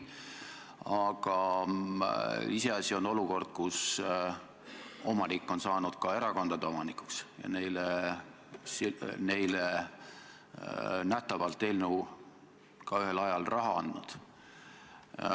Aga iseasi on olukord, kui apteegi omanik on saanud ka erakondade omanikuks ja neile eelnõu menetlemisega ühel ajal raha andnud.